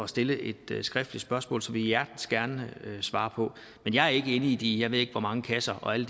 stille et skriftligt spørgsmål som vi hjertens gerne svarer på men jeg er ikke inde i de jeg ved ikke hvor mange kasser og alle